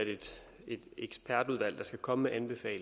skal komme